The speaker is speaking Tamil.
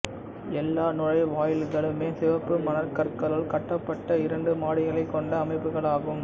எல்லா நுழைவாயில்களுமே சிவப்பு மணற்கற்களால் கட்டப்பட்ட இரண்டு மாடிகளைக் கொண்ட அமைப்புக்களாகும்